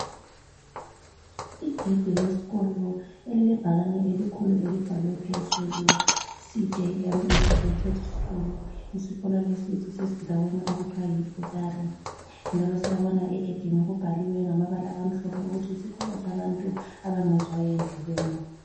Igedi lesikolo elilebhakane elikhulu elibhalwe phezulu CJM Integrated School. Isikolo lesi sisendaweni okuthiwa yiButare njalo siyabona egedini kubhaliwe ngamabala amhlophe ukuthi yisikolo sabantu abangezwayo endlebeni.